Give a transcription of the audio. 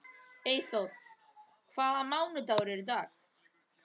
Eyþóra, hvaða mánaðardagur er í dag?